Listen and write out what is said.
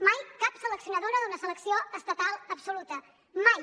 mai cap seleccionadora d’una selecció estatal absoluta mai